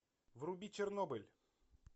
вруби чернобыль